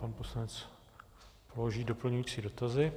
Pan poslanec vloží doplňující dotazy.